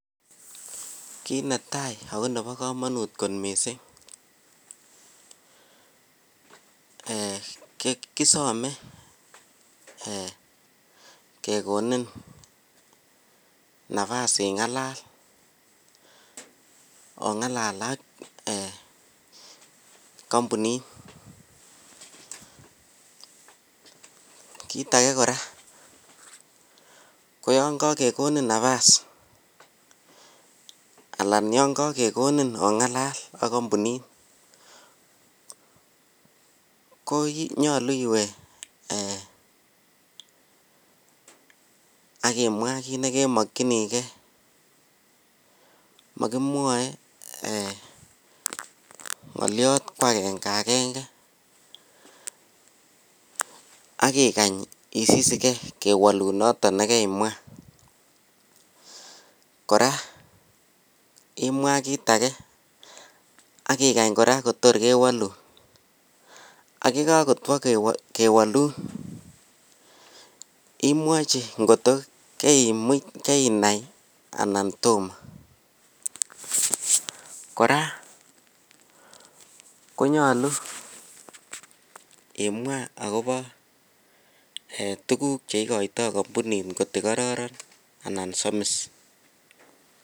Kit netai ako Nebo kamanut kot mising kisome kekonin nafas ingalal ak ingalal ak kambunit kit age koraa koyangagegonin nafas anan yangagegoninongalal ak bik ak kambunit konyalu iwe akimwaa kit nekemakinigei makimwae ngaliat kwagengeagenge akikany isisigei kewalun noton nekaimwa koraa imwaa kitage akikany koraa Kotor kewalun ayikakotwa kwlewalun imwachi kot kotkokainai anan Tomo kora konyalu imwaa akobo tuguk cheikata kambunit kot ko kararan anan Samis